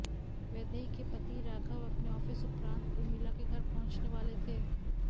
वैदेही के पति राघव अपने ऑफिस उपरांत उर्मिला के घर पहुंचने वाले थे